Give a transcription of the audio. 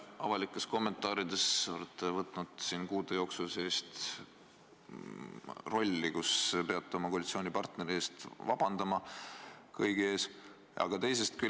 Avalikes kommentaarides olete kuude jooksul võtnud enda peale rolli, kus te peate oma koalitsioonipartneri eest kõigi ees vabandust paluma.